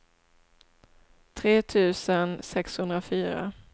tre tusen sexhundrafyra